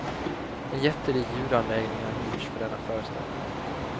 En jättelik ljudanläggning har hyrts för denna föreställning.